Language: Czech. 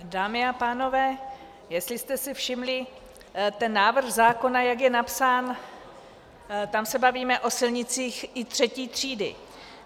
Dámy a pánové, jestli jste si všimli, ten návrh zákona, jak je napsán, tam se bavíme o silnicích i III. třídy.